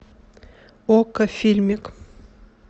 окко фильмик